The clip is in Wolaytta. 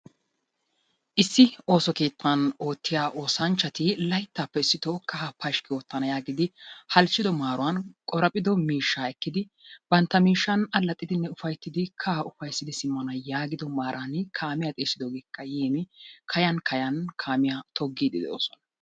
Issi ooso keettan oottiyaa oosanchchati layttappe issitoon kaaha pashkki oottana yaagiidi halchchido maaran qoraphphido miishsha ekkidi bantta miishshan allaxxidi ufaytidi simmana maaran kaamiyaa xeessidoogeekka yiin kaayyn kaayyan kaamiya toggide doosona.